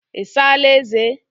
I saala eze?